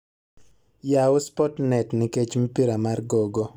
yaw sportnet nikech mpira mar gogo